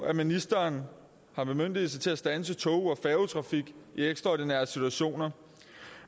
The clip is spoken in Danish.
at ministeren har bemyndigelse til at standse tog og færgetrafik i ekstraordinære situationer